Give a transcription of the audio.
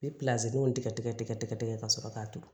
Ni tigɛ tigɛ ka sɔrɔ k'a turu